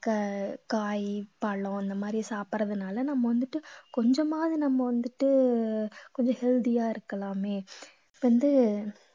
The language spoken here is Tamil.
க~ காய் பழம் இந்த மாதிரி சாப்பிடுறதுனால நம்ம வந்துட்டு கொஞ்சமாவது நம்ம வந்துட்டு கொஞ்சம் healthy யா இருக்கலாமே வந்து